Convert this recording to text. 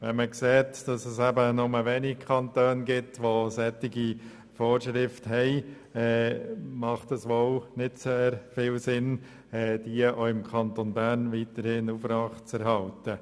Wenn man sieht, dass nur wenige Kantone solche Vorschriften kennen, macht es wohl nicht sehr viel Sinn, diese im Kanton Bern aufrechtzuerhalten.